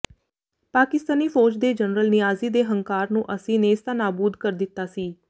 ਪਾਕਿਸਤਨੀ ਫ਼ੌਜ ਦੇ ਜਨਰਲ ਨਿਆਜ਼ੀ ਦੇ ਹੰਕਾਰ ਨੂੰ ਅਸੀਂ ਨੇਸਤਾਨਾਬੂਦ ਕਰ ਦਿੱਤਾ ਸੀ